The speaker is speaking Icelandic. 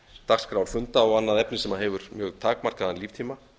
dagskrár funda og annað efni sem hefur mjög takmarkaðan líftíma